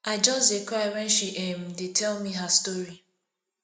i just dey cry wen she um dey tell me her story